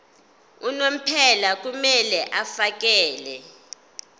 unomphela kumele afakele